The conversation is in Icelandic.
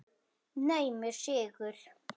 Naumur sigur.